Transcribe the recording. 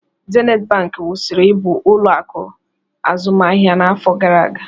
Zenit bank kwụsịrị ịbụ ụlọ akụ azụmaahịa n'afọ gara aga